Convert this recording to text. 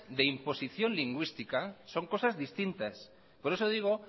de imposición lingüística son cosas distintas por eso digo